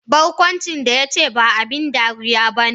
Barkwancin da ya ce, ba abin dariya ba ne.